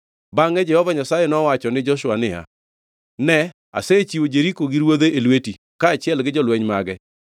Bangʼe Jehova Nyasaye nowacho ni Joshua niya, “Ne, asechiwo Jeriko gi ruodhe e lweti, kaachiel gi jolweny mage.